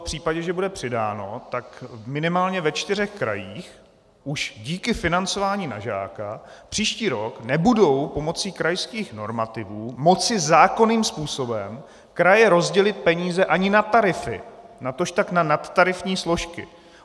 V případě, že bude přidáno, tak minimálně ve čtyřech krajích už díky financování na žáka příští rok nebudou pomocí krajských normativů moci zákonným způsobem kraje rozdělit peníze ani na tarify, natožpak na nadtarifní složky.